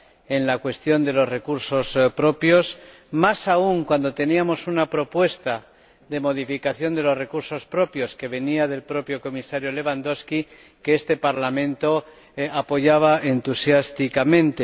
en la cuestión de los recursos propios, más aún cuando teníamos una propuesta de modificación sobre los recursos propios que venía del propio Comisario Lewandowski y que este Parlamento apoyaba entusiásticamente.